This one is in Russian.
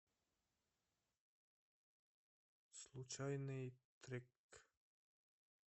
случайный трек